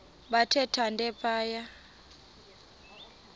bathe thande phaya